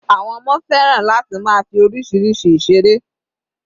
Àwọn ọmọ fẹ́ràn láti máa fi oríṣiríṣi ìseré.